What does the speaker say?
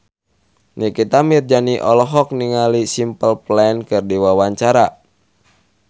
Nikita Mirzani olohok ningali Simple Plan keur diwawancara